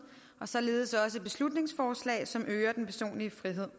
og således også beslutningsforslag som øger den personlige frihed